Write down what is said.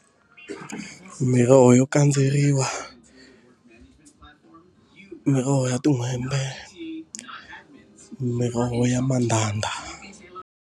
Miroho yo kandzeriwa, miroho ya tin'hwembe, miroho ya mandhandha.